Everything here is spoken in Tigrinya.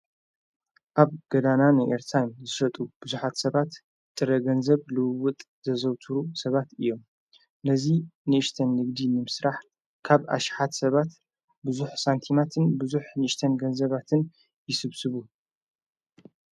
ኣብ ገዳና ንኤርታይም ዝረጡ ብዙኃት ሰባት ጥረ ገንዘብ ልውውጥ ዘዘውትሩ ሰባት እዮም ነዙይ ንእሽተን ልግዲ ንምስራሕ ካብ ኣሽሓት ሰባት ብዙኅ ሳንቲማትን ብዙኅ ንእሽተን ገንዘባትን ይስብስቡ።